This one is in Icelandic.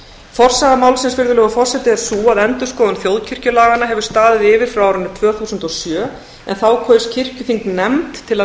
forsaga málsins er sú að endurskoðun þjóðkirkjulaganna hefur staðið yfir frá árinu tvö þúsund og sjö en þá kaus kirkjuþing nefnd til að